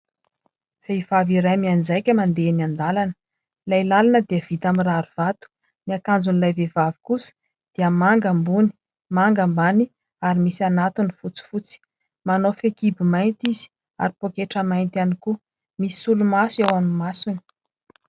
Vehivavy iray mianjaika mandeha eny an-dalana, ilay lalana dia vita amin'ny rarivato. Ny akanjon'ilay vehivavy kosa dia manga ambony, manga ambany ary misy anatiny fotsifotsy. Manao fehikibo mainty izy ary pôketra mainty ihany koa, misy solomaso ao amin'ny masony.